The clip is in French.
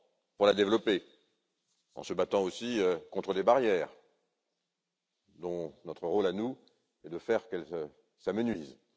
pour la développer en se battant aussi contre les barrières, dont notre rôle à nous est de faire qu'elles s'amenuisent.